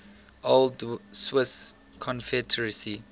old swiss confederacy